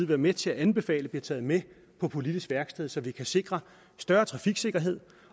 være med til at anbefale bliver taget med på politisk værksted så vi kan sikre større trafiksikkerhed